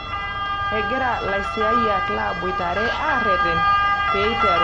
Egira laisiyiak laboitare aaretena pee eituru maandamano.